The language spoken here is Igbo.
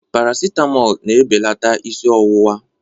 Parasitamọl na-ebelata isi ọwụwa.